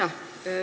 Aitäh!